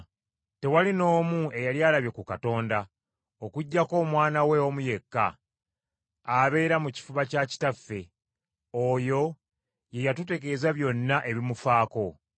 Tewali n’omu eyali alabye ku Katonda, okuggyako Omwana we omu yekka, abeera mu kifuba kya kitaffe, oyo ye yatutegeeza byonna ebimufaako.